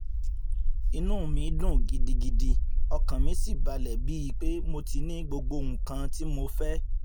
inú mi dùn gidigidi ọkàn mi sì balẹ̀ bíi pé mo ti ní gbogbo nǹkan tí mò ń fẹ́